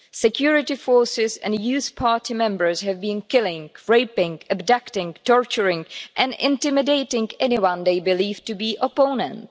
Security forces and youth party members have been killing, raping, abducting, torturing and intimidating anyone they believe to be opponents.